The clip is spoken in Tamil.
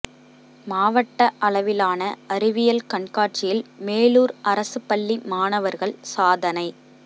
மாவட்ட அளவிலான அறிவியல் கண்காட்சியில் மேலூர் அரசு பள்ளி மாணவர்கள் சாதனை